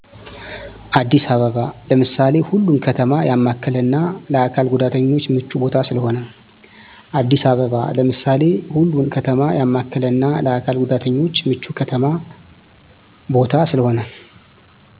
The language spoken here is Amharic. አዲስ አበባ ለምሳሌ ሁሉን ከተማ ያማከለና ለአካል ጉዳተኞች ምቹ ቦታ ስለሆነ